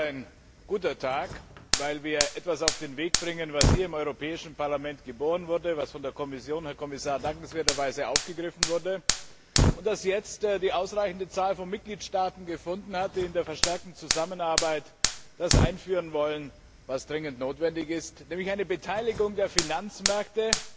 Heute ist ein guter Tag, weil wir etwas auf den Weg bringen, das hier im Europäischen Parlament geboren wurde, das von der Kommission, Herr Kommissar, dankenswerterweise aufgegriffen wurde und das jetzt die ausreichende Zahl von Mitgliedstaaten gefunden hat, die im Rahmen der verstärkten Zusammenarbeit das einführen wollen, was dringend notwendig ist, nämlich eine Beteiligung der Finanzmärkte